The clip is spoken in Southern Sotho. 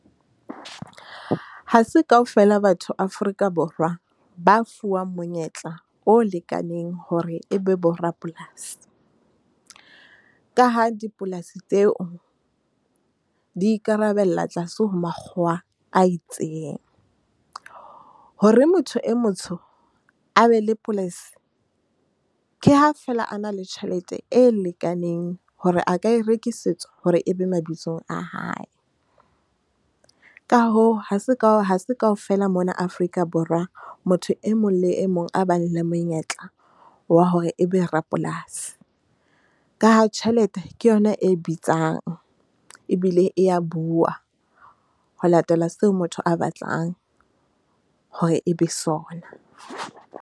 Ha se kaofela batho Afrika-Borwa ba fuwang monyetla o lekaneng hore ebe borapolasi. Ka ha dipolasi tseo di ikarabella tlase ho makgowa a itseng. Hore motho e motsho a be le policy. Ke ha fela a na le tjhelete e lekaneng hore a ka e rekisetswa hore e be mabitsong a hae. Ka hoo, ha se ka ha se kaofela mona Afrika-Borwa. Motho e mong le e mong a bang le monyetla wa hore ebe rapolasi. Ka ha jhelete ke yona e bitsang ebile e ya bua ho latela seo motho a batlang hore e be sona.